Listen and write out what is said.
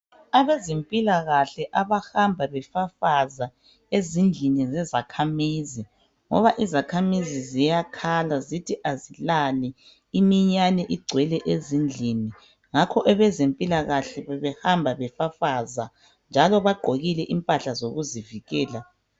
Abezempilakahle abahamba befafaza ezindlini zezakhamizi, ngoba izakhamizi ziyakhala zithi azilali imiyane igcwele ezindlini ngakho abezempilakahle bebehamba befafaza njalo bagqokile impahla zokuzivikela.